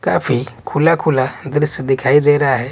काफी खुला खुला दृश्य दिखाई दे रहा है।